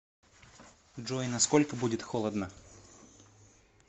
джой на сколько будет холодно